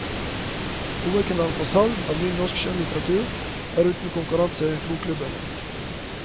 Hovedkanalen for salg av ny norsk skjønnlitteratur er uten konkurranse bokklubbene.